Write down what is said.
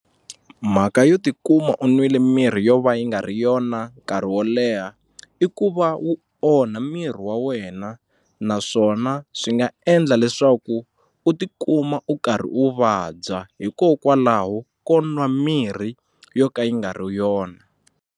Mhaka yo tikuma u n'wile mirhi yo va yi nga ri yona nkarhi wo leha i ku va wu onha miri wa wena naswona swi nga endla leswaku u tikuma u karhi u vabya hikokwalaho ko nwa mirhi yo ka yi nga ri yona.